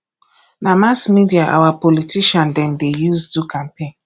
na mass media our politician dem dey use do campaign